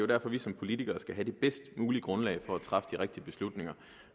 derfor vi som politikere skal have det bedst mulige grundlag for at træffe de rigtige beslutninger